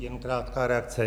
Jen krátká reakce.